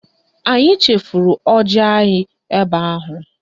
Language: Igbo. Anyị chefuru ọjị anyị ebe ahụ